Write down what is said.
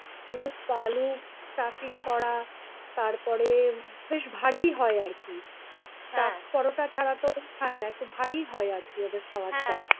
অদের তো সবই পরোটা আলু stuffing করা তারপরে বেশ ভারী হয় আর কি পরোটা ছাড়া তো খায় না ভারি হয় আর কি ওদের খাবারটা